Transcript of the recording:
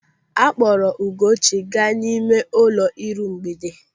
A kpọrọ Ugochi ga n'ime ụlọ ịrụmgbede.